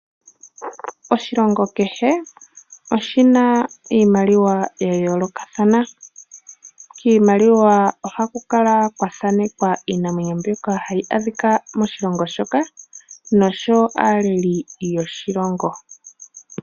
Oshilongo kehe oshi na iimaliwa ya yoolokathana. Kiimaliwa ohaku kala kwa thanekwa iinamwenyo mbyoka hayi adhika moshilongo shoka nosho wo aaleli yoshilongo.